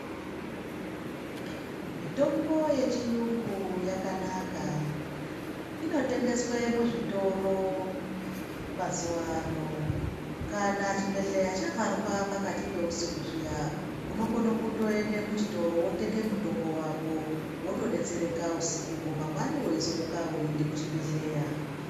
Mitombo yechiyungu yakanaka inotengeswe muzvitoro mazuwano kana chibhehleya chavharwa pakati peusiku zviya unokone kutoende muchitoro wotenge mutombo wako wotodetsereka husiko ho mangwani weizomuka weiende kuchibhehleya.